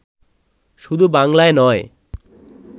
শুধু বাংলায় নয়